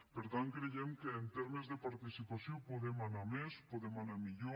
per tant creiem que en termes de participació podem anar a més podem anar millor